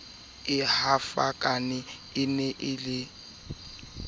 e hafaka e ne e